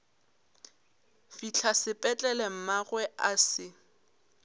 fihla sepetlele mmagwe a se